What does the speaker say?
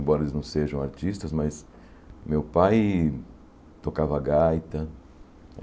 Embora eles não sejam artistas, mas meu pai tocava gaita.